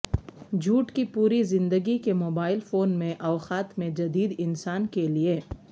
جھوٹ کی پوری زندگی کے موبائل فون میں اوقات میں جدید انسان کے لئے